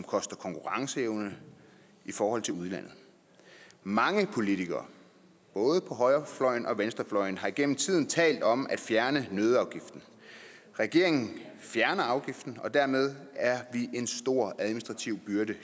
koster konkurrenceevne i forhold til udlandet mange politikere både på højrefløjen og på venstrefløjen har gennem tiden talt om at fjerne nøddeafgiften regeringen fjerner afgiften og letter dermed en stor administrativ byrde